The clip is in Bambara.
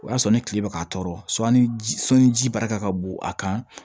O y'a sɔrɔ ni tile bɛ ka tɔɔrɔ sɔli sɔli ji barika ka bon a kan